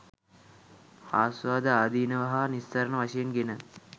ආස්වාද, ආදීනව හා නිස්සරණ වශයෙන් ගෙන